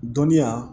Dɔnniya